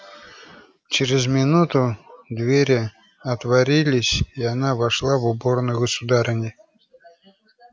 через минуту двери отворились и она вошла в уборную государыни